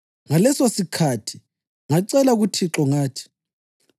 Ngalesosikhathi ngacela kuThixo ngathi: